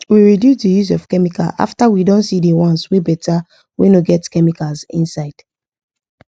we reduce the use of chemical after we don see the ones wey better wey no get chemicals inside